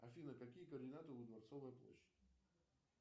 афина какие координаты у дворцовой площади